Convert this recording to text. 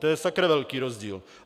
To je sakra velký rozdíl.